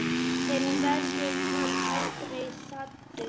En verður hann aldrei saddur?